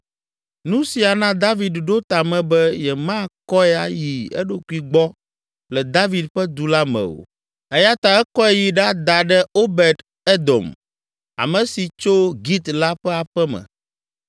Nu sia na David ɖo ta me be yemakɔe ayi eɖokui gbɔ le David ƒe Du la me o, eya ta ekɔe yi ɖada ɖe Obed Edom, ame si tso Git la ƒe aƒe me.